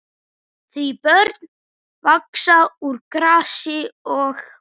Því börn vaxa úr grasi og.